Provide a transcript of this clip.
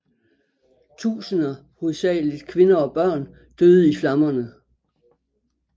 Tusinder hovedsageligt kvinder og børn døde i flammerne